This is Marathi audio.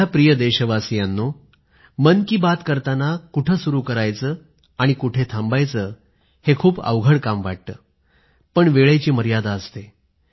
माझ्या प्रिय देशवासियांनो मन की बात कुठं सुरू करायची कुठे थांबायचं खूप अवघड काम वाटतं पण वेळेची मर्यादा असते